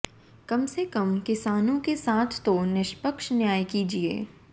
कम से कम किसानों के साथ तो निष्पक्ष न्याय किजीए